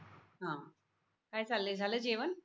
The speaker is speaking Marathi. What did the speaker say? काय चालय झाल जेवण?